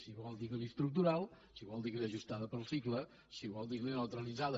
si vol diguin·ne estructural si vol diguin·ne ajustada pel cicle si vol diguin·ne neutralitzada